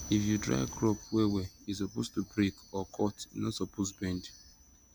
if you dry crop well well e suppose to break or cut e no suppose bend